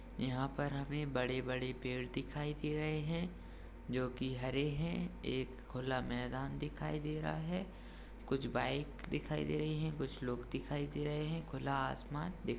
यहाँ पर हमे बड़े-बड़े पेड़ दिखाई दे रहे हैं जो कि हरे हैं एक खुला मैदान दिखाई दे रहा हैं कुछ बाइक दिखाई दे रहीं हैं कुछ लोग दिखाई दे रहे हैं खुला आसमान दिखाई--